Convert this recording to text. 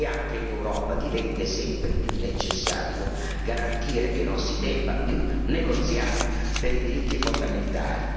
Anche in Europa diventa sempre più necessario garantire che non si debba più negoziare per i diritti fondamentali.